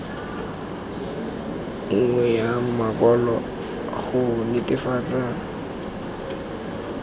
nngwe ya makwalo go netefatsa